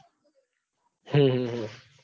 હમ હમ